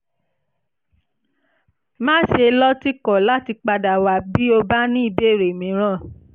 má ṣe lọ́tìkọ̀ láti padà wá bí o bá ní ìbéèrè mìíràn